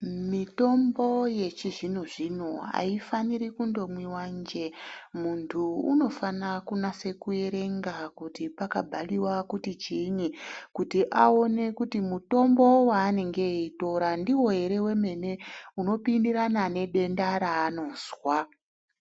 Mitombo yechizvino-zvino haifaniri kundomwiva njee. Muntu unofana kunase kuerenga kuti pakabhariva kuti chiinyi. Kuti aone kuti mutombo vaanenge eitora ndivo ere vemene unopindirana nedenda raanozwa.